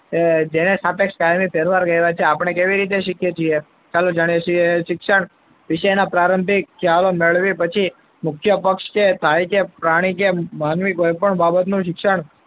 જ્યારે સાપેક્ષ કાયમી ફેરફાર કહેવાય છે. આપણે કેવી રીતે શીખીએ છીએ ચાલો જાણીએ. શિક્ષણ શિક્ષણના પ્રારંભિક ખ્યાલ મેળવ્યા પછી મુખ્ય પક્ષ કે પ્રાણી કે માનવી કોઈ પણ બાબતનું શિક્ષણ,